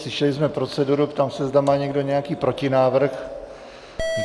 Slyšeli jsme proceduru, ptám se, zda má někdo nějaký protinávrh?